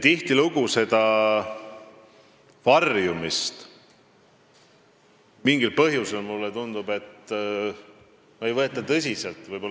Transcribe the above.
Tihtilugu seda varjumist mingil põhjusel, mulle tundub, ei võeta tõsiselt.